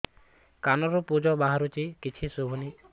କାନରୁ ପୂଜ ବାହାରୁଛି କିଛି ଶୁଭୁନି